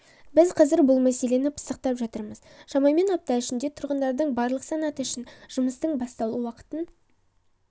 біз қазір бұл мәселені пысықтап жатырмыз шамамен апта ішінде тұрғындардың барлық санаты үшін жұмыстың басталу уақытын